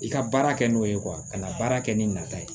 I ka baara kɛ n'o ye ka na baara kɛ ni nata ye